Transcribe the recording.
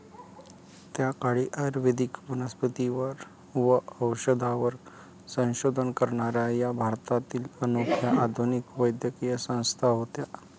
त्या काळी आयुर्वेदिक वनस्पतींवर व औषधांवर संशोधन करणाऱ्या या भारतातील अनोख्या आधुनिक वैद्यकीय संस्था होत्या.